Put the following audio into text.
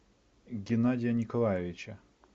геннадия николаевича